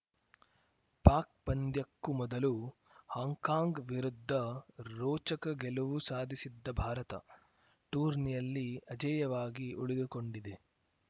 ಪಾಕ್‌ ಪಂದ್ಯಕ್ಕೂ ಮೊದಲು ಹಾಂಕಾಂಗ್‌ ವಿರುದ್ಧ ರೋಚಕ ಗೆಲುವು ಸಾಧಿಸಿದ್ದ ಭಾರತ ಟೂರ್ನಿಯಲ್ಲಿ ಅಜೇಯವಾಗಿ ಉಳಿದುಕೊಂಡಿದೆ